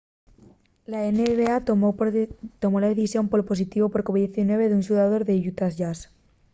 la nba tomó la decisión pol positivu por covid-19 d'un xugador del utah jazz